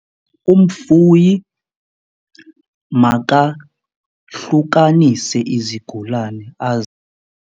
Umfuyi makahlukanise izigulane .